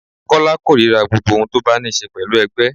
Kọ́lá korira gbogbo ohun tó bá ní ṣe pẹ̀lú ẹgbẹ́.